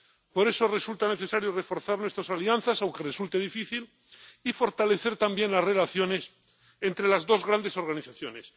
Por eso resulta necesario reforzar nuestras alianzas, aunque resulte difícil, y fortalecer también las relaciones entre las dos grandes organizaciones.